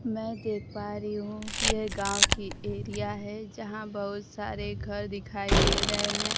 मैं देख पा रही हूं कि यह गांव की एरिया है जहां बहुत सारे घर दिखाई दे रहे हैं।